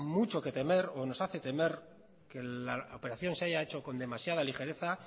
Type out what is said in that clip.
mucho que temer o nos hace temer que la operación se haya hecho con demasiada ligereza